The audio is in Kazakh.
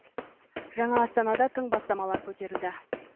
жаңа астанада тың бастамалар көтерілді